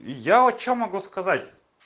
я что могу сказать